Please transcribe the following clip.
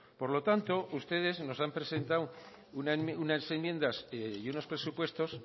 por lo tanto ustedes nos han presentado unas enmiendas y unos presupuestos